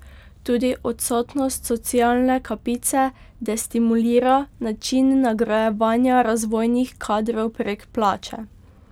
Tudi odsotnost socialne kapice destimulira način nagrajevanja razvojnih kadrov prek plače.